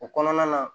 O kɔnɔna na